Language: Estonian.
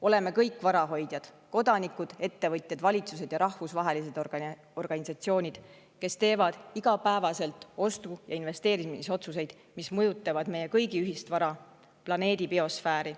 Oleme kõik varahoidjad: kodanikud, ettevõtjad, valitsused ja rahvusvahelised organisatsioonid, kes teevad igapäevaselt ostu‑ ja investeerimisotsuseid, mis mõjutavad meie kõigi ühist vara – planeedi biosfääri.